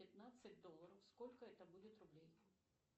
пятнадцать долларов сколько это будет рублей